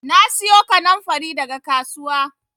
Na siyo kannanfari daga kasuwa